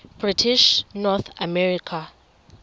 british north america